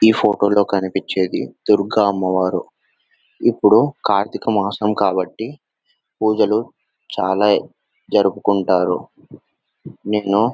ఈ ఫోటోలో కనిపించేది దుర్గ అమ్మవారు.ఇప్పుడు కార్తీక మాసం కాబట్టి పూజలు చాలా జరుపుకుంటారు. నేను--